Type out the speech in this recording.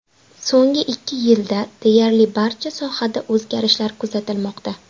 So‘nggi ikki yilda deyarli barcha sohada o‘zgarishlar kuzatilmoqda.